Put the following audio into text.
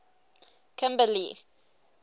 kimberly